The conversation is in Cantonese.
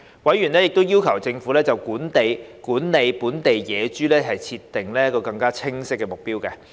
委員亦要求政府就管理本地野豬設定更清晰的目標。